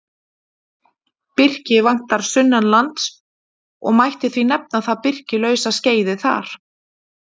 Birki vantar sunnanlands og mætti því nefna það birkilausa skeiðið þar.